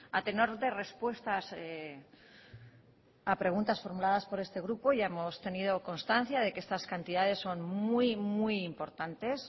a tenor de respuestas a preguntas formuladas por este grupo ya hemos tenido constancia de que estas cantidades son muy muy importantes